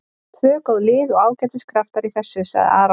Tvö góð lið og ágætis kraftur í þessu, sagði Aron.